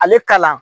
Ale kalan